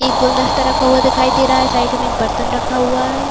एक गुलदस्ता रखा हुआ दिखाई दे रहा है। साइड में एक बर्तन रखा हुआ है।